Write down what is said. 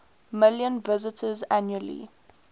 million visitors annually